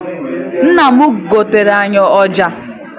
Nna m goteere anyị ọja.